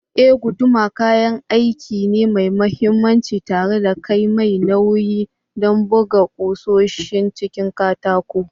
Eh, guduma kayan aiki ne mai mahimmanci tare da kai mai nauyi don buga ƙusoshin cikin katako.